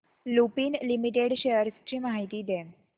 Lupin limited shares ची माहिती दे